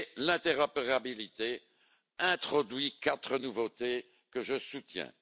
L'interopérabilité introduit quatre nouveautés que je soutiens.